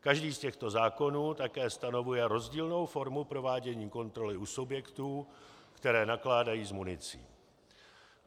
Každý z těchto zákonů také stanovuje rozdílnou formu provádění kontroly u subjektů, které nakládají s municí.